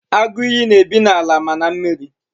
Agụ ìyì na-ebi n'ala ma na mmiri.